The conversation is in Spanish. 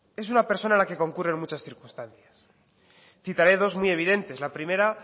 es una persona a la que concurren muchas circunstancias citaré dos muy evidentes la primera